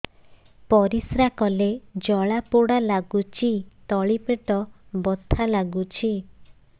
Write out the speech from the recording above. ପରିଶ୍ରା କଲେ ଜଳା ପୋଡା ଲାଗୁଚି ତଳି ପେଟ ବଥା ଲାଗୁଛି